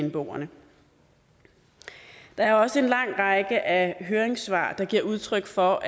bnboerne der er også en lang række af høringssvar der giver udtryk for